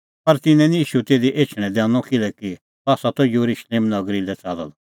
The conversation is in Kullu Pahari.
पर तिन्नैं निं ईशू तिधी एछणैं दैनअ किल्हैकि सह त येरुशलेम नगरी लै च़ाल्लअ द